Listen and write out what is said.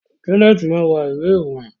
Janet ń rà Ìwé-ìròyìn.